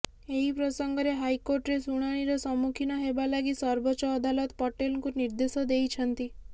ଏହି ପ୍ରସଙ୍ଗରେ ହାଇକୋର୍ଟରେ ଶୁଣାଣିର ସମ୍ମୁଖୀନ ହେବା ଲାଗି ସର୍ବୋଚ୍ଚ ଅଦାଲତ ପଟେଲଙ୍କୁ ନିର୍ଦେଶ ଦେଇଛନ୍ତି